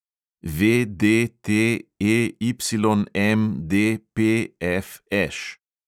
VDTEYMDPFŠ